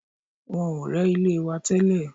Wọ́n ò rẹ́ ilé wa tẹ́lẹ̀